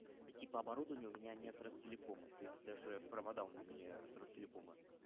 и типа оборудование у меня не от ростелекома то есть даже провода у меня не от ростелекома